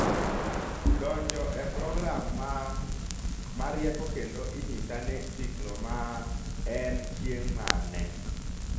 donjo e program maa ma rieko kendo inyisa ni siklo maa en chieng' mane